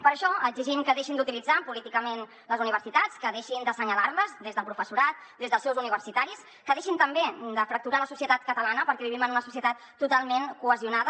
per això exigim que deixin d’utilitzar políticament les universitats que deixin d’assenyalar les des del professorat des dels seus universitaris que deixin també de fracturar la societat catalana perquè vivim en una societat totalment cohesionada